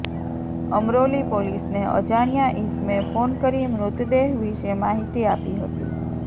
અમરોલી પોલીસને અજાણ્યા ઇસમે ફોન કરી મૃતદેહ વિશે માહિતી આપી હતી